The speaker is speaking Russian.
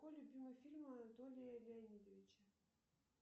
какой любимый фильм анатолия леонидовича